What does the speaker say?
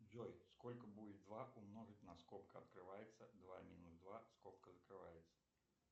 джой сколько будет два умножить на скобка открывается два минус два скобка закрывается